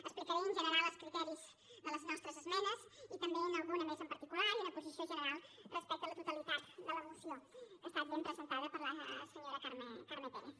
explicaré en general els criteris de les nostres esmenes i també en alguna més en particular i una posició general respecte a la totalitat de la moció que ha estat ben presentada per la senyora carme pérez